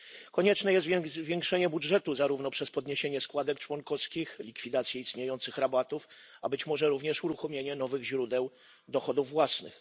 Konieczne jest więc zwiększenie budżetu zarówno przez podniesienie składek członkowskich, jak i likwidację istniejących rabatów, a być może również uruchomienie nowych źródeł dochodów własnych.